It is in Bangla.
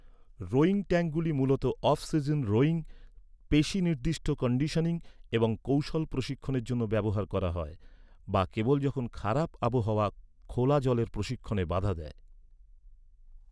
রোয়িং ট্যাঙ্কগুলি মূলত অফ সিজন রোয়িং, পেশী নির্দিষ্ট কন্ডিশনিং এবং কৌশল প্রশিক্ষণের জন্য ব্যবহার করা হয়, বা কেবল যখন খারাপ আবহাওয়া খোলা জলের প্রশিক্ষণে বাধা দেয়।